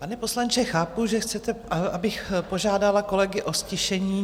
Pane poslanče, chápu, že chcete, abych požádala kolegy o ztišení.